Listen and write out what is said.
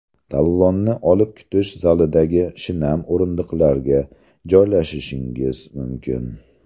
Talonni olib kutish zalidagi shinam o‘rindiqlarga joylashishingiz mumkin.